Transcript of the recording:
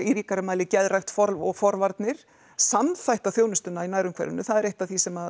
ríkara mæli geðrækt og forvarnir samþætta þjónustuna í nærumhverfinu það er eitt af því sem